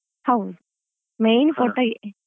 ಹೌದು main photo .